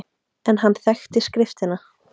En hann þekkti skriftina.